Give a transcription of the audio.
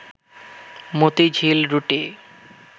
মতিঝিল রুটে